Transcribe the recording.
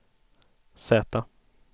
Z